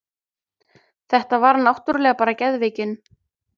Þetta var náttúrlega bara geðveikin.